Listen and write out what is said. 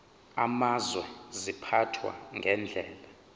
amazwe ziphathwa ngendlela